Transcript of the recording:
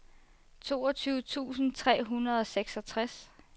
toogtyve tusind tre hundrede og seksogtres